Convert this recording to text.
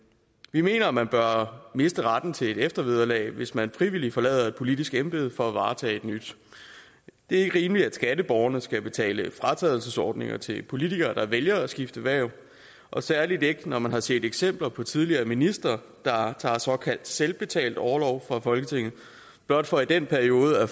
vi mener at man bør miste retten til eftervederlag hvis man frivilligt forlader et politisk embede for at varetage et nyt det er ikke rimeligt at skatteborgerne skal betale for fratrædelsesordninger til politikere der vælger at skifte hverv og særlig ikke når man har set eksempler på tidligere ministre der har taget såkaldt selvbetalt orlov fra folketinget blot for i den periode at